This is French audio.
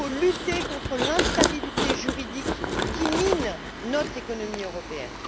Il faut lutter contre l'instabilité juridique qui mine notre économie européenne.